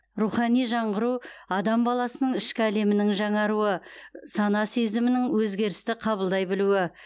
рухани жаңғыру адам баласының ішкі әлемінің жаңаруы сана сезімінің өзгерісті қабылдай білуі